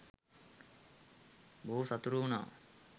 බොහෝ සතුටු වුනා.